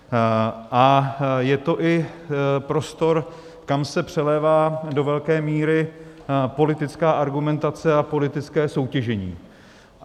A je to i prostor, kam se přelévá do velké míry politická argumentace a politické soutěžení.